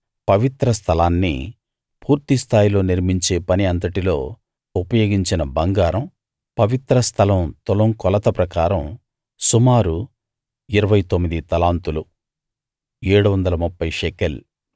పవిత్ర స్థలాన్ని పూర్తి స్థాయిలో నిర్మించే పని అంతటిలో ఉపయోగించిన బంగారం పవిత్ర స్థలం తులం కొలత ప్రకారం సుమారు 29 తలాంతులు 730 షెకెల్